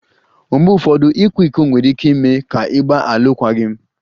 Mgbe ụfọdụ, ịkwa iko nwere ike ime ka ịgba alụkwaghịm